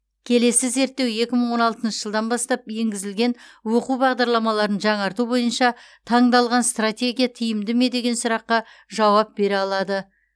келесі зерттеу екі мың он алтыншы жылдан бастап енгізілген оқу бағдарламаларын жаңарту бойынша таңдалған стратегия тиімді ме деген сұраққа жауап бере алады